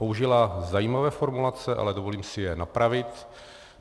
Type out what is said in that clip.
Použila zajímavé formulace, ale dovolím si je napravit.